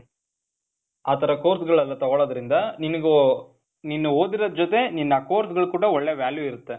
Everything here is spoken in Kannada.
ಆ ಥರ course ಗಳೆಲ್ಲ ತಗೊಳೋದ್ರಿಂದ ನಿನಿಗೂ, ನೀನು ಓದಿರೋದ್ರ ಜೊತೆ ನಿನ್ನ course ಗಳಿಗು ಕೂಡ ಒಳ್ಳೇ value ಇರತ್ತೆ.